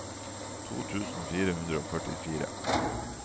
to tusen fire hundre og førtifire